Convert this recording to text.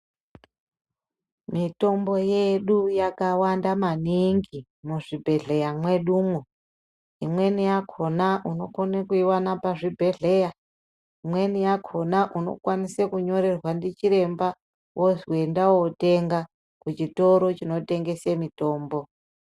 Mitombo yedu yakawanda maningi muzvibhedhleya mwedumwo imweni yakona unokona kuiwana pazvibhedhleya ,imweni yakona unokwanise kunyorerwa ndichiremba wozi enda wotenga kuchitoro chinotengese mitombo.